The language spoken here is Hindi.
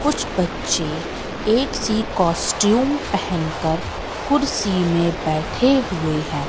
कुछ बच्चे एक सी कॉस्टयूम पहन कर कुर्सी में बैठे हुए हैं।